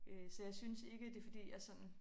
Øh så jeg synes ikke det fordi jeg sådan